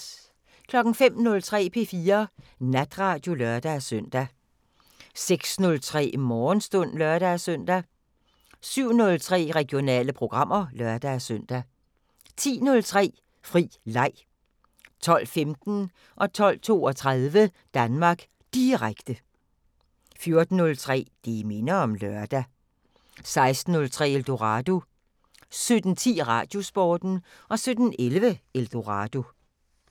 05:03: P4 Natradio (lør-søn) 06:03: Morgenstund (lør-søn) 07:03: Regionale programmer (lør-søn) 10:03: Fri leg 12:15: Danmark Direkte 12:32: Danmark Direkte 14:03: Det minder om lørdag 16:03: Eldorado 17:10: Radiosporten 17:11: Eldorado